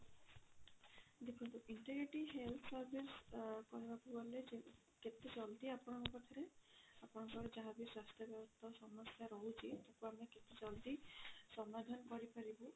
ଦେଖନ୍ତୁ integrating health service କହିବାକୁ ଗଲେ କେତେ ଜଲ୍ଦି ଆପଣଙ୍କ ପାଖରେ ଆପଣଙ୍କର ଯାହା ବି ସ୍ୱାସ୍ଥ୍ୟ ବ୍ୟବସ୍ଥା ସମସ୍ୟା ରହୁଛି ବା ଆମେ କେତେ ଜଲ୍ଦି ସମାଧାନ କରି ପାରିବୁ